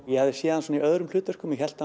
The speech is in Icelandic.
ég hafði séð hann í öðrum hlutverkum og hélt